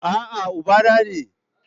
A'a, Ubana ne